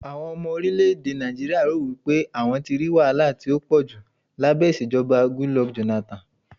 àwọn ọmọ orilẹ ède Naijiria ro wipe àwọn tí ri wahala ti a poju labẹ ìṣèjọba Goodluck Jonathan